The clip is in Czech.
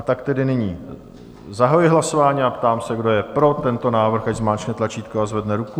A tak tedy nyní zahajuji hlasování a ptám se, kdo je pro tento návrh, ať zmáčkne tlačítko a zvedne ruku.